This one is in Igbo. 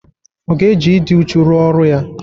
Ọ ga-eji ịdị uchu rụọ ọrụ ya?